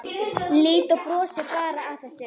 Lídó brosir bara að þessu.